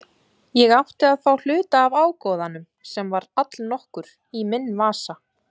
Ég átti að fá hluta af ágóðanum, sem var allnokkur, í minn vasa.